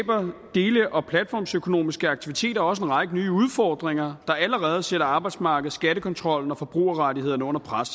dele og platformsøkonomiske aktiviteter også en række nye udfordringer der allerede sætter arbejdsmarkedet skattekontrollen og forbrugerrettighederne under pres